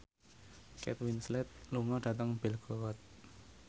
Kate Winslet lunga dhateng Belgorod